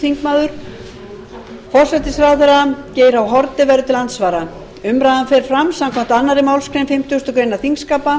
forsætisráðherra geir h haarde verður til andsvara umræðan fer fram samkvæmt annarri málsgrein fimmtugustu grein þingskapa